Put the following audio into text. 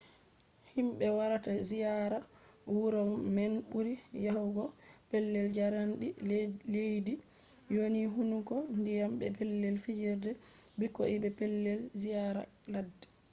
himɓe warata ziyaara wuro man ɓuri yahugo pellel jaarendi leddi woni hunduko ndiyam be pellel fijerde ɓikkoi be pellel ziyaara ladde